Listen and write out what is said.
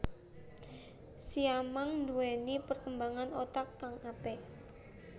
Siamang nduwéni perkembangan otak kang apik